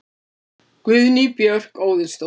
Guðný Björk Óðinsdóttir